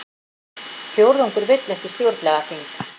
Fjórðungur vill ekki stjórnlagaþing